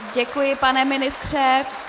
Děkuji, pane ministře.